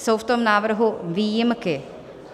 Jsou v tom návrhu výjimky.